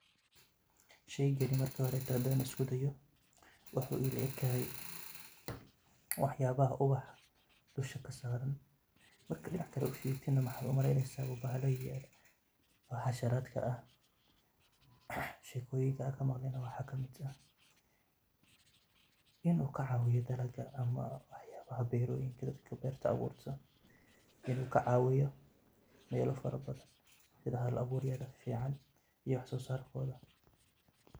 Sheygani markahore hadan iskuday, wxu ila ekade waxyabaha ubaxa dushakasaran ,marka dinaca kale u firiyo wxad u maleyneysa inu bahala yahay bahasharakah ,shekoyinka kamaqle wxa kamid ahinukacawiyo beroyinka dadka berta awuta inukacawiyo wxayaba mela farabadan sida hal caburya fican sida wax sosarkoda